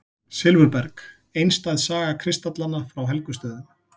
Silfurberg: einstæð saga kristallanna frá Helgustöðum.